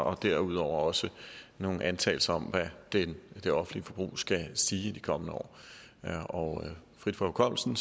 og derudover også nogle antagelser om hvad det det offentlige forbrug skal stige med i de kommende år frit fra hukommelsen